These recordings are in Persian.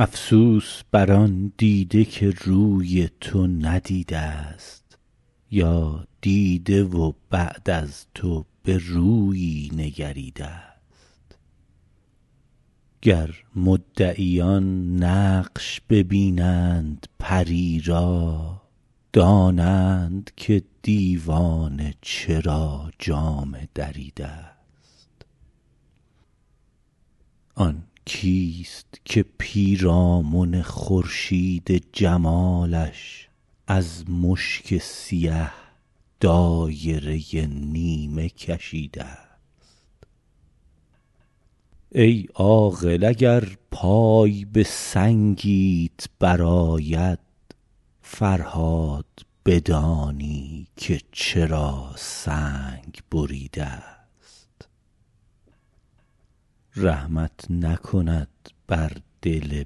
افسوس بر آن دیده که روی تو ندیده ست یا دیده و بعد از تو به رویی نگریده ست گر مدعیان نقش ببینند پری را دانند که دیوانه چرا جامه دریده ست آن کیست که پیرامن خورشید جمالش از مشک سیه دایره نیمه کشیده ست ای عاقل اگر پای به سنگیت برآید فرهاد بدانی که چرا سنگ بریده ست رحمت نکند بر دل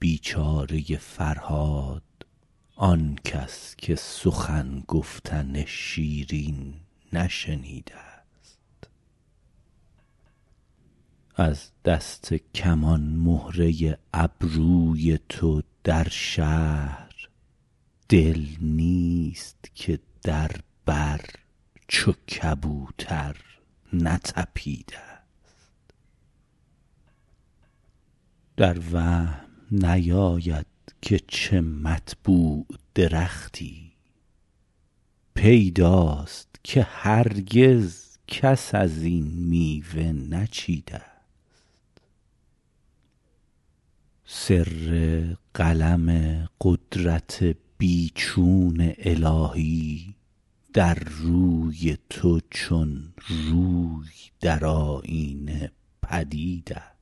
بیچاره فرهاد آنکس که سخن گفتن شیرین نشنیده ست از دست کمان مهره ابروی تو در شهر دل نیست که در بر چو کبوتر نتپیده ست در وهم نیاید که چه مطبوع درختی پیداست که هرگز کس از این میوه نچیده ست سر قلم قدرت بی چون الهی در روی تو چون روی در آیینه پدید است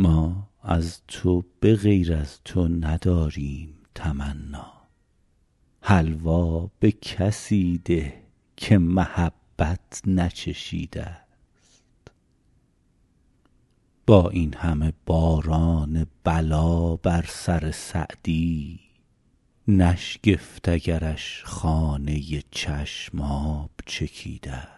ما از تو به غیر از تو نداریم تمنا حلوا به کسی ده که محبت نچشیده ست با این همه باران بلا بر سر سعدی نشگفت اگرش خانه چشم آب چکیده ست